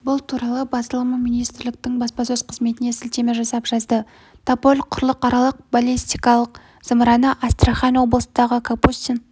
бұл туралы басылымы министрліктің баспасөз қызметіне сілтеме жасап жазды тополь құрлықаралық баллистикалық зымыраны астрахань облысындағы капустин